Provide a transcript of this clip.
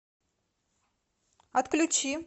отключи